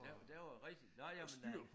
Der der var rigtig nåh ja men øh